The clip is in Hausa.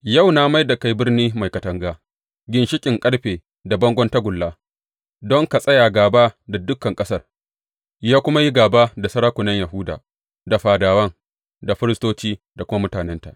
Yau na mai da kai birni mai katanga, ginshiƙin ƙarfe da bangon tagulla don ka tsaya gāba da dukan ƙasar, ya kuma yi gāba da sarakunan Yahuda da fadawan, da firistoci da kuma mutanenta.